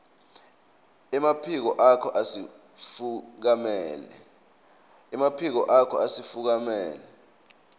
emaphiko akho asifukamela